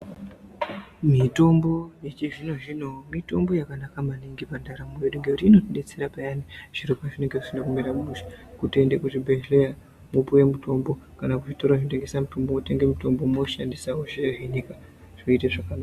Mitombo yechizvino zvino mitombo yakanaka maningi pandaramo yedu ngekuti inotidetsera payani zviro pazvinenge zvisina kumira mushe kutienda kuzvibhedhlera wopuwa mutombo kana kuzvitoro zvinotengeswa mutombo wopuwa mutombo wochandisa kovhenekwa zviro zvoita zvakanaka.